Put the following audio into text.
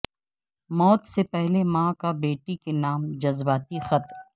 موت سے پہلے ماں کا بیٹی کے نام جذباتی خط